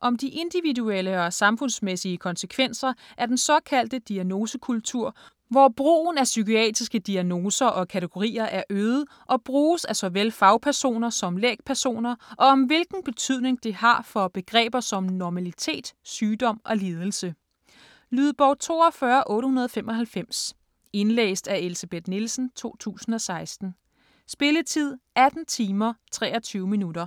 Om de individuelle og samfundsmæssige konsekvenser af den såkaldte "diagnosekultur", hvor brugen af psykiatriske diagnoser og kategorier er øget, og bruges af såvel fagpersoner som lægpersoner, og om hvilken betydning det har for begreber som normalitet, sygdom og lidelse. Lydbog 42895 Indlæst af Elsebeth Nielsen, 2016. Spilletid: 18 timer, 23 minutter.